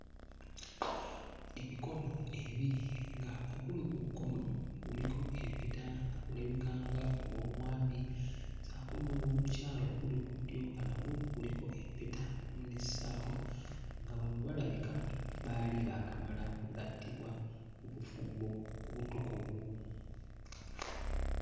Emikono ebiri nga oguli ku kkono guliko empeta nga gulabika nga ogw'omwami ssaako n'ogw'omukyala oguli ku ddyo nga nagwo guliko empeta n'essaawa, nga bano balabika baali baakamala okugattibwa mu bufumbo obutukuvu.